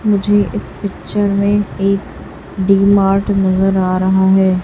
मुझे इस पिक्चर में एक डी मार्ट नजर आ रहा है।